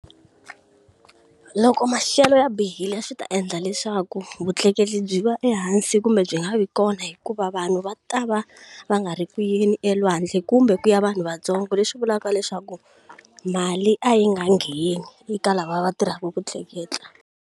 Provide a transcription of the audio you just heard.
Loko maxelo ya bihile swi ta endla leswaku vutleketli byi va ehansi kumbe byi nga vi kona hikuva vanhu va ta va va nga ri ku yini elwandle kumbe ku ya vanhu vatsongo. Leswi vulaka leswaku mali a yi nga ngheni ka lava va tirhaka ku tleketla.